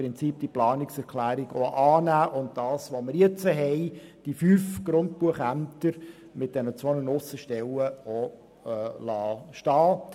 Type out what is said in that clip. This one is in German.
Wir können diese Planungserklärung im Prinzip auch annehmen und die fünf Grundbuchämter mit den beiden Aussenstellen stehen lassen.